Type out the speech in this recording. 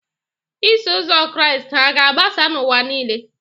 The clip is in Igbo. Iso Ụzọ Kraịst hà ga-agbasa n'ụwa nile?